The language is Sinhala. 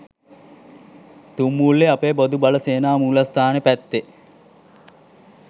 තුම්මුල්ලෙ අපේ බොදු බල සේනා මූලස්තානෙ පැත්තෙ